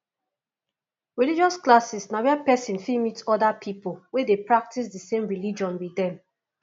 religious classes na where person fit meet oda pipo wey dey practice di same religion with dem